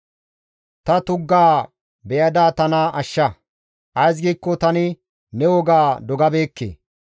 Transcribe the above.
Ta tuggaa beyada tana ashsha; ays giikko tani ne woga dogabeekke.